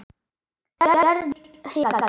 Gerður hikaði.